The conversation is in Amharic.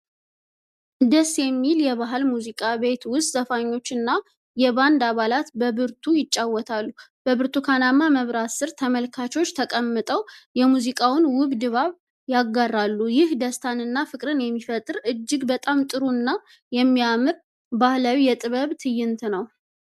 ደስ የሚል የባህል ሙዚቃ ቤት ውስጥ፣ ዘፋኞችና የባንድ አባላት በብርቱ ይጫወታሉ። በብርቱካንማ መብራት ሥር ተመልካቾች ተቀምጠው የሙዚቃውን ውብ ድባብ ይጋራሉ፤ ይህ ደስታንና ፍቅርን የሚፈጥር እጅግ በጣም ጥሩ እና የሚያምር ባህላዊ የጥበብ ትዕይንት ነው።